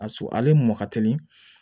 A su ale mɔn ka teli